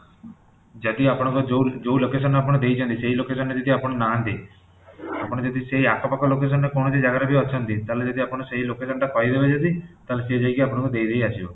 ଯଦି ଆପଣଙ୍କର ଯୋଉଁ ଯୋଉଁ location ଆପଣ ଦେଇଛନ୍ତି ସେଇ location ଯଦି ଆପଣ ନାହାନ୍ତି ଆପଣ ଯଦି ସେଇ ଆଖପାଖ location ରେ ପହଞ୍ଚି ଜାଗାରେ ବି ଅଛନ୍ତି ତାହାଲେ ଯଦି ଆପଣ ସେହି location ଟା କହିବେ ଯଦି ତାହାଲେ ସିଏ ଯାଇକି ଆପଣଙ୍କୁ ଦେଇ ଦେଇକି ଆସିବ